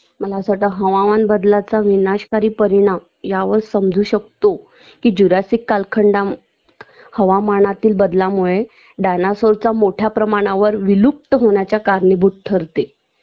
मला असं वाटत हवामान बदलाचा विनाशकारी परिणाम यावर समजू शकतो कि जुरासिक कालखंडामध्ये हवामानातील बदलामुळे डायनासॉरचा मोठ्या प्रमाणावर विलुप्त होण्याचा कारणीभूत ठरते